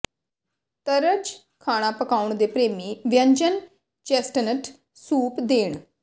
ਤਰਜ ਖਾਣਾ ਪਕਾਉਣ ਦੇ ਪ੍ਰੇਮੀ ਵਿਅੰਜਨ ਚੈਸਟਨਟ ਸੂਪ ਦੇਣ